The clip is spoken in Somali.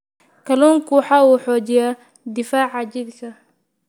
Kalluunku waxa uu xoojiyaa difaaca jidhka.